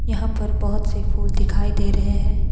यहां पर बहोत से फूल दिखाई दे रहे हैं।